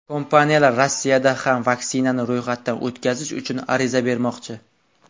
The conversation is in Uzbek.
Kompaniyalar Rossiyada ham vaksinani ro‘yxatdan o‘tkazish uchun ariza bermoqchi.